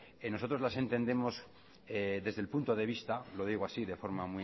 nosotros las entendemos desde el punto de vista lo digo así de forma